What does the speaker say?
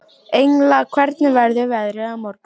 Engla, hvernig verður veðrið á morgun?